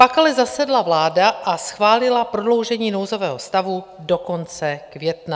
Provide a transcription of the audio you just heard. Pak ale zasedla vláda a schválila prodloužení nouzového stavu do konce května.